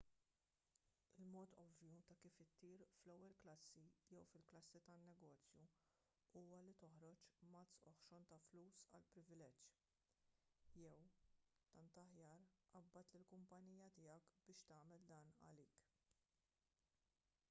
il-mod ovvju ta' kif ittir fl-ewwel klassi jew fil-klassi tan-negozju huwa li toħroġ mazz oħxon ta' flus għall-privileġġ jew tant aħjar qabbad lill-kumpanija tiegħek biex tagħmel dan għalik